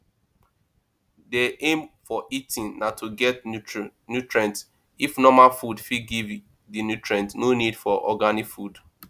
di aim for eating na to get nutrient if normal food fit give di nutrients no need for organic food